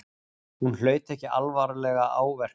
Hún hlaut ekki alvarlega áverka